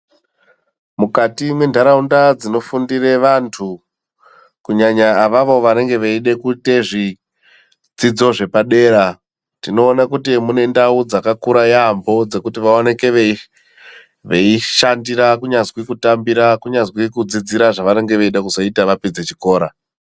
Mukati mwenhaaunda dzinofundure antu kunyanya avavo vanenge veida kuita zvidzidzo zvepadera. Tinoona kuti mune ndau dzakakura yaambo dzekuti vaoneke veishandira, kunyazwi kutambira, kunyazwi kudzidzira zvavanenge veida kuzoita vapedze chikora.